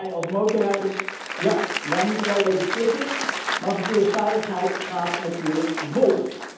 Ja, wij, als motorrijders, moeten wel even slikken, maar verkeersveiligheid gaat natuurlijk voor.